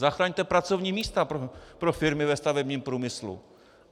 Zachraňte pracovní místa pro firmy ve stavebním průmyslu.